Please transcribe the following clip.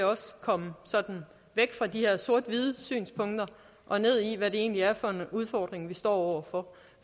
komme sådan væk fra de her sort hvide synspunkter og ned i hvad det egentlig er for en udfordring vi står over for